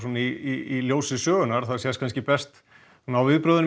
í ljósi sögunnar og það sést kannski best á viðbrögðum